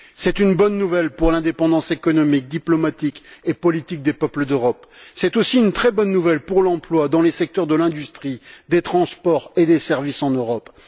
C'est une bonne nouvelle pour l'indépendance économique, diplomatique et politique des peuples d'Europe. C'est aussi une très bonne nouvelle pour l'emploi dans les secteurs de l'industrie, des transports et des services en Europe.